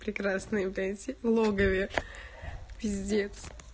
прекрасные блять в логове пиздец